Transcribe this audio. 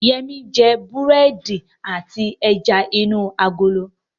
Yẹmí jẹ búrẹ́dì àti ẹja inú agolo